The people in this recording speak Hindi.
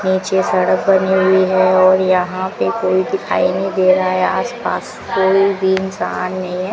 पीछे सड़क बनी हुई है और यहां पे कोई दिखाई नहीं दे रहा है आस पास कोई भी इंसान नहीं है।